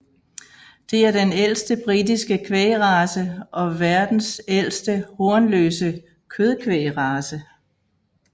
Det er den ældste britiske kvægrace og verdens ældste hornløse kødkvægrace